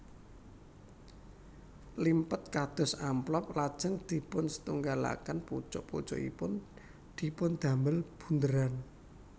Limpet kados amplop lajeng dipunsetunggalaken pucuk pucukipun dipundamel bundheran